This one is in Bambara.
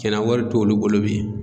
Cɛnna wari t'olu bolo bi